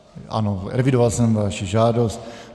Ano, evidoval jsem vaši žádost.